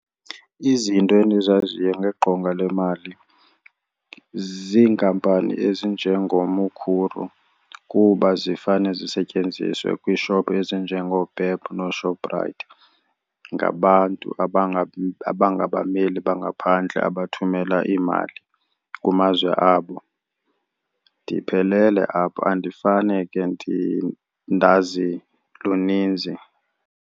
Izinto endizaziyo ngegqonga lemali ziinkampani ezinjengoMukhuru kuba zifane zisetyenziswe kwiishophu ezinjengooPep nooShoprite ngabantu abangabameli bangaphandle abathumela iimali kumazwe abo. Ndiphelele apho andifane ke ndazi luninzi.